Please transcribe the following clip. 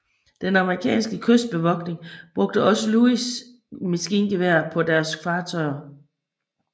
Den amerikanske kystbevogtning brugte også Lewis maskingeværer på deres fartøjer